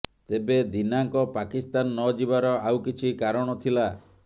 ତେବେ ଦୀନାଙ୍କ ପାକିସ୍ତାନ ନଯିବାର ଆଉ କିଛି କାରଣ ଥିଲା